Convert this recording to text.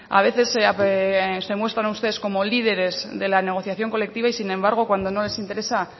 a veces se muestran ustedes como líderes de la negociación colectiva y sin embargo cuando no les interesa